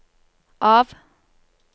av